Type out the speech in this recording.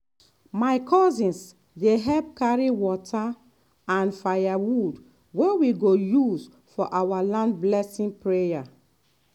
my cousins dey help carry water and and firewood wey we go use for our land blessing prayer